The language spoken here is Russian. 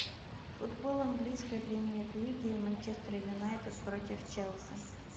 футбол английской премьер лиги манчестер юнайтед против челси